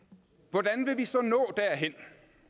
hvordan vil vi så nå derhen